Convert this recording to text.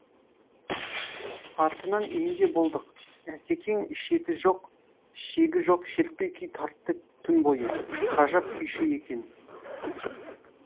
артынан үйінде болдық асекең шеті жоқ шегі жоқ шертпе күй тартты түн бойы ғажап күйші екен